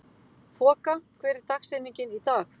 Þoka, hver er dagsetningin í dag?